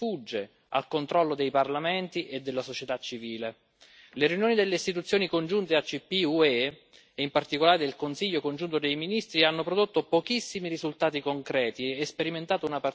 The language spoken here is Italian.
Le riunioni delle istituzioni congiunte ACP UE, e in particolare del Consiglio congiunto dei Ministri, hanno prodotto pochissimi risultati concreti e sperimentato una partecipazione purtroppo minima e di scarso livello.